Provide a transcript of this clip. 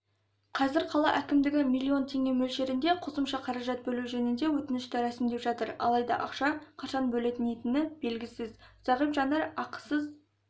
қазір қала әкімдігі миллион теңге мөлшерінде қосымша қаражат бөлу жөнінде өтінішті рәсімдеп жатыр алайда ақша қашан бөлінетіні белгісіз зағип жандар ақысыз